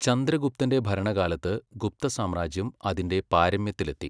ചന്ദ്രഗുപ്തന്റെ ഭരണകാലത്ത് ഗുപ്ത സാമ്രാജ്യം അതിന്റെ പാരമ്യത്തിലെത്തി.